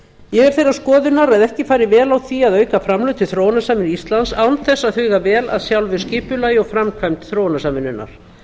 ég er þeirrar skoðunar að ekki fari vel á því að auka framlög til þróunarsamvinnu íslands án þess að huga vel að sjálfu skipulagi og framkvæmd þróunarsamvinnunnar